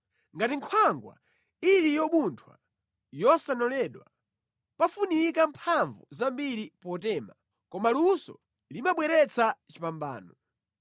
Ngati nkhwangwa ili yobuntha yosanoledwa, pamafunika mphamvu zambiri potema, koma luso limabweretsa chipambano.